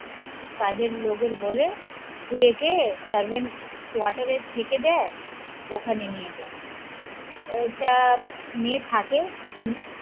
কাজের লোকের বলে তুই একে servant কোয়াটার এ থেকে দেয় ওখানে নিয়ে যা ওইটা মেয়ে থাকে